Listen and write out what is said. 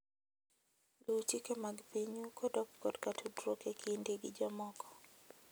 Luw chike mag pinyu kodok korka tudruok e kindi gi jomoko.